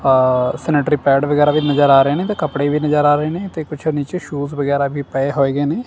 ਆ sanitary pad ਵਗੈਰਾ ਵੀ ਨਜ਼ਰ ਆ ਰਹੇ ਨੇ ਤੇ ਕੱਪੜੇ ਵੀ ਨਜ਼ਰ ਆ ਰਹੇ ਨੇ ਤੇ ਕੁਝ ਨੀਚੇ ਸ਼ੂਜ਼ ਵਗੈਰਾ ਵੀ ਪਏ ਹੋਏ ਹੇਗੇ ਨੇ।